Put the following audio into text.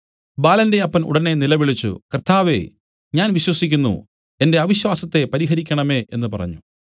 ബാലന്റെ അപ്പൻ ഉടനെ നിലവിളിച്ചു കർത്താവേ ഞാൻ വിശ്വസിക്കുന്നു എന്റെ അവിശ്വാസത്തെ പരിഹരിക്കണമേ എന്നു പറഞ്ഞു